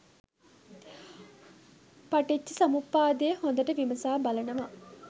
පටිච්ච සමුප්පාදය හොඳට විමසා බලනවා